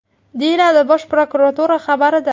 deyiladi Bosh prokuratura xabarida.